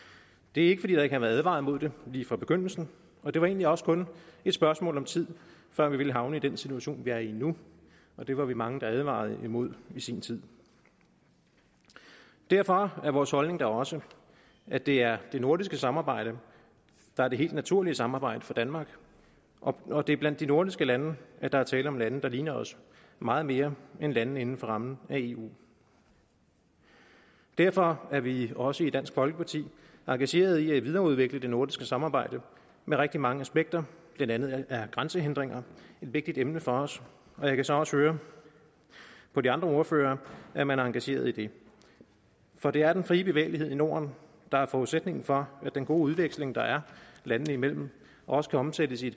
det er ikke fordi der ikke har været advaret imod det lige fra begyndelsen og det var egentlig også kun et spørgsmål om tid før vi ville havne i den situation vi er i nu og det var vi mange der advarede imod i sin tid derfor er vores holdning da også at det er det nordiske samarbejde der er det helt naturlige samarbejde for danmark og det er blandt de nordiske lande at der er tale om lande der ligner os meget mere end landene inden for rammen af eu derfor er vi også i dansk folkeparti engagerede i at videreudvikle det nordiske samarbejde med rigtig mange aspekter blandt andet er grænsehindringer et vigtigt emne for os og jeg kan så også høre på de andre ordførere at man er engageret i det for det er den frie bevægelighed i norden der er forudsætningen for at den gode udveksling der er landene imellem også kan omsættes i